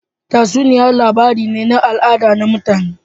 Tatsuniya labari ne na al'ada na mutane